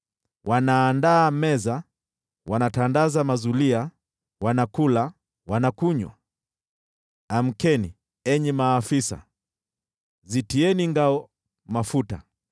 Wanaandaa meza, wanatandaza mazulia, wanakula, wanakunywa! Amkeni, enyi maafisa, zitieni ngao mafuta!